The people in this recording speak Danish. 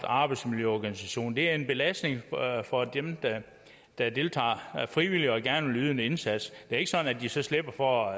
arbejdsmiljøorganisation det er en belastning for dem der deltager frivilligt og gerne vil yde en indsats det er ikke sådan at de så slipper for